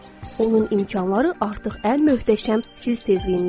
Onun imkanları artıq ən möhtəşəm siz tezliyindəndir.